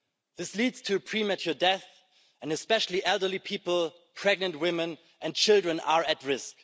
This leads to premature death and especially elderly people, pregnant women and children are at risk.